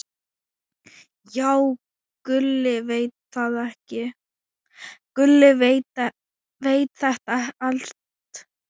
Já, Gulli veit þetta allt.